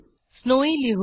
snowy लिहू